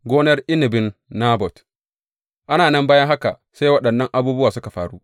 Gonar inabin Nabot Ana nan bayan haka sai waɗannan abubuwa suka faru.